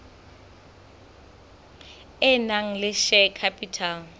e nang le share capital